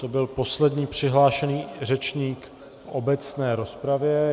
To byl poslední přihlášený řečník v obecné rozpravě.